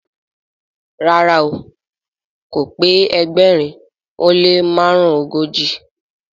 ràrá o k pé ẹgbẹrin o le marunogoji